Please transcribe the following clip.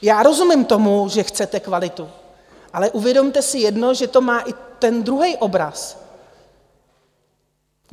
Já rozumím tomu, že chcete kvalitu, ale uvědomte si jedno, že to má i ten druhý obraz.